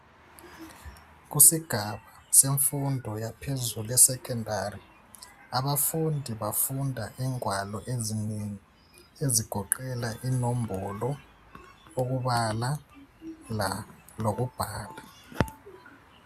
Kusigaba semfundo yaphezulu esekhendari, abafundi bafunda ingwalo eziningi ezigoqela inombolo, ukubala, lokubhala.